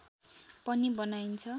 पनि बनाइन्छ